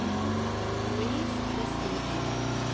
Louise Vestin